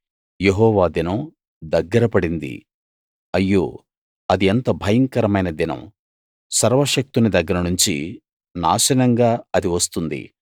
యెహోవా దినం దగ్గర పడింది అయ్యో అది ఎంత భయంకరమైన దినం సర్వశక్తుని దగ్గర నుంచి నాశనంగా అది వస్తుంది